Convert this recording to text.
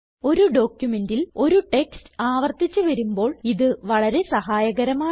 ഒരു ഡോക്യുമെന്റിൽ ഒരു ടെക്സ്റ്റ് ആവർത്തിച്ച് വരുമ്പോൾ ഇത് വളരെ സഹായകരമാണ്